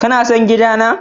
Ka na son gida na?